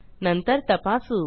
नंतर तपासू